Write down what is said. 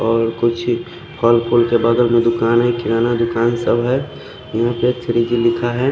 और कुछ ही खोल खोल के बगल में दूकान है किराना दूकान सब है यहाँ पे थ्री की लिखा है।